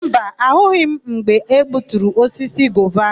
Mba, ahụghị m mgbe egbuturu osisi gova áhụ̀.